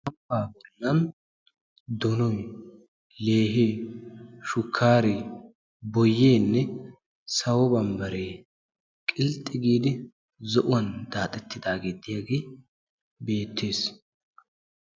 dumma dumma leehee, boyee shukkaareenne sawo bambbaree qilxxi giidi zo'uwan daaxxettidaagee diyaagee betees.